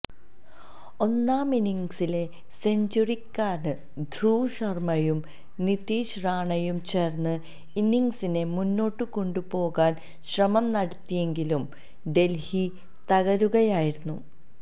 ഒന്നാമിന്നിംഗ്സിലെ സെഞ്ചുറിക്കാരന് ധ്രുവ് ശര്മ്മയും നിതീഷ് റാണയും ചേര്ന്ന് ഇന്നിംഗ്സിനെ മുന്നോട്ട് കൊണ്ടു പോകാന് ശ്രമം നടത്തിയെങ്കിലും ഡല്ഹി തകരുകയായിരുന്നു